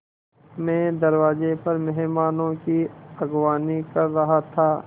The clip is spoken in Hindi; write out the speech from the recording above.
मैं दरवाज़े पर मेहमानों की अगवानी कर रहा था